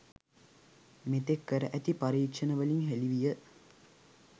මෙතෙක් කර ඇති පරීක්ෂණවලින් හෙළි විය